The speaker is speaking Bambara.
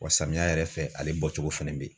Wa samiya yɛrɛ fɛ ale bɔcogo fɛnɛ be yen